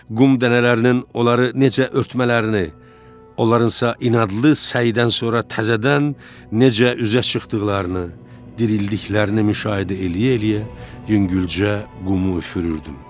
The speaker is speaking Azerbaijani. Qum dənələrinin onları necə örtmələrini, onlarınsa inadlı səydən sonra təzədən necə üzə çıxdıqlarını, dirildiklərini müşahidə eləyə-eləyə yüngülcə qumu üfürürdüm.